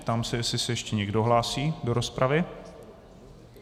Ptám se, jestli se ještě někdo hlásí do rozpravy.